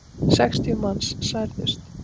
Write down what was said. Sextíu manns særðust.